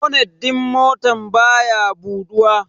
Bonet din motan baya buduwa.